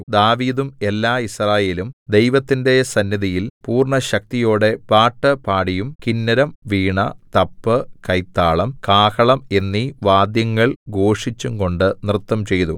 ദാവീദും എല്ലാ യിസ്രായേലും ദൈവത്തിന്റെ സന്നിധിയിൽ പൂർണ്ണശക്തിയോടെ പാട്ടുപാടിയും കിന്നരം വീണ തപ്പ് കൈത്താളം കാഹളം എന്നീ വാദ്യങ്ങൾ ഘോഷിച്ചുംകൊണ്ടു നൃത്തംചെയ്തു